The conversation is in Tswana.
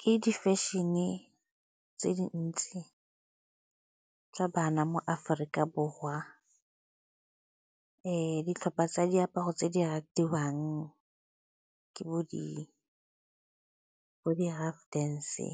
Ke difešene tse dintsi tsa bana mo Aforika Borwa. Ditlhopha tsa diaparo tse di ratiwang ke bo di-rough dance-e,